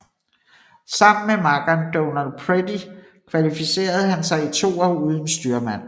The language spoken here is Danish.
Sammen med makkeren Donald Pretty kvalificerede han sig i toer uden styrmand